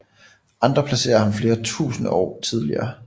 Andre placerer ham flere tusinde år tidligere